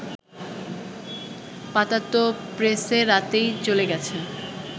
পাতা তো প্রেসে রাতেই চলে গেছে